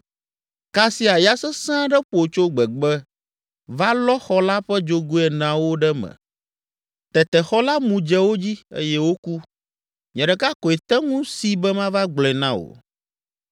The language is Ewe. Kasia ya sesẽ aɖe ƒo tso gbegbe va lɔ xɔ la ƒe dzogoe eneawo ɖe me. Tete xɔ la mu dze wo dzi eye woku; nye ɖeka koe te ŋu si be mava gblɔe na wò!”